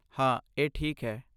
ਹਾਂ, ਇਹ ਠੀਕ ਹੈ।